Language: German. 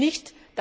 Ich nicht!